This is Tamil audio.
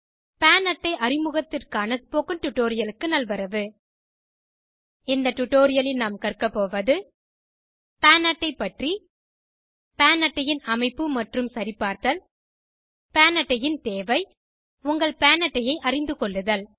பான் அட்டை அறிமுகத்திற்கான ஸ்போகன் டுடோரியலுக்கு நல்வரவு இந்த டுடோரியலில் நாம் கற்க போவது PAN அட்டை பற்றி PAN அட்டை ன் அமைப்பு மற்றும் சரிபார்த்தல் பான் அட்டை ன் தேவை உங்கள் பான் அட்டை ஐ அறிந்துகொள்ளுதல்